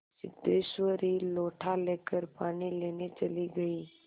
सिद्धेश्वरी लोटा लेकर पानी लेने चली गई